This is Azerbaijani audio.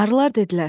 Arılar dedilər: